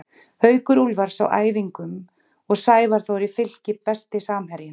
Haukur Úlfars á æfingum og Sævar Þór í Fylki Besti samherjinn?